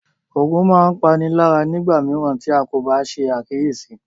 Ògùn máa ń páni lára nígbà mìíràn tí a kò bá ṣe àkíyèsí